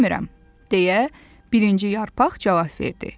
Bilmirəm, deyə birinci yarpaq cavab verdi.